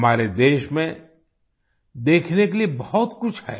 हमारे देश में देखने के लिए बहुत कुछ है